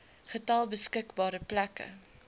getal beskikbare plekke